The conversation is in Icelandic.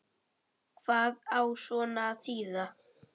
Hvað á svona að þýða